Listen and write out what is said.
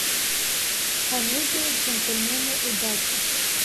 комедия джентльмены удачи